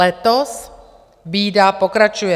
Letos bída pokračuje.